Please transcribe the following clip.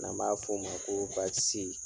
An b'a f'o ma ko baasi tɛ